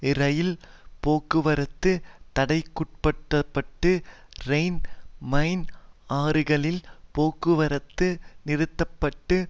இரயில் போக்குவரத்து தடைக்குட்படுத்தப்பட்டு ரைன் மைன் ஆறுகளில் போக்குவரத்து நிறுத்த பட்டு